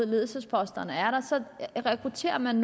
ledelsesposter ser man